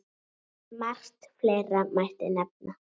Margt fleira mætti nefna.